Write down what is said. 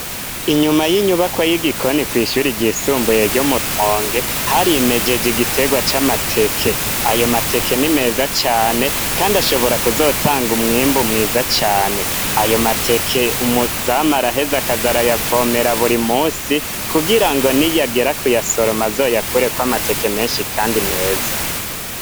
Inyuma y'inyubako y'igikoni kw ishuri ryisumbuye gyo murwonge hari imegege igitegwa c'amateke ayo mateke ni meza cane kandi ashobora kuzotanga umwimbu mwiza cane. Ayo mateke umuzamu araheza akaza arayavomera buri munsi kugira ngo niyagera kuyasoroma azoyakureko amateke menshi kandi meza.